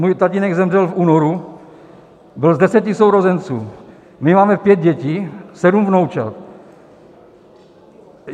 Můj tatínek zemřel v únoru, byl z deseti sourozenců, my máme pět dětí, sedm vnoučat.